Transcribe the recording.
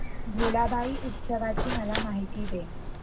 भुलाबाई उत्सवाची मला माहिती दे